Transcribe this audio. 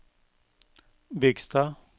Bygstad